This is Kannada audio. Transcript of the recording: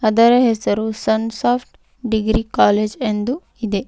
ಇದರ ಹೆಸರು ಸಂಸಾಫ್ಟ್ ಡಿಗ್ರಿ ಕಾಲೇಜ್ ಎಂದು ಇದೆ.